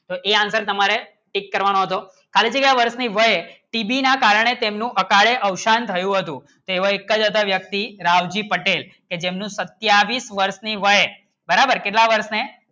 એ અંદર તમારે tick કરવાનું શો ખલતીના વસ્રષ ની વાય શિબી ના કારણે તેનું અકાળે અવશાન આવ્યું હતું તેવો એકચ વ્યક્તિ રાવજી પટેલ યમનું સત્યવીસ વર્ષની વય બરાબર કેટલે વર્ષ ને